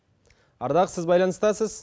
ардақ сіз байланыстасыз